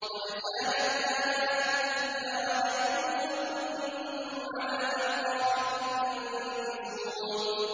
قَدْ كَانَتْ آيَاتِي تُتْلَىٰ عَلَيْكُمْ فَكُنتُمْ عَلَىٰ أَعْقَابِكُمْ تَنكِصُونَ